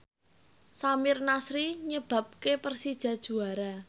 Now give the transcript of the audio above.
Samir Nasri nyebabke Persija juara